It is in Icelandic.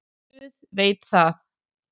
Guð veit það.